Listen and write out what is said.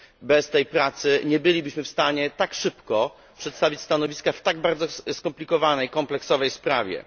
Bez tej pracy nie bylibyśmy w stanie tak szybko przedstawić stanowiska w tak bardzo skomplikowanej sprawie.